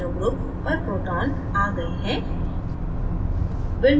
amino group nh2 पर proton nh3 + आ गए हैं